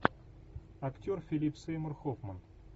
актер филип сеймур хоффман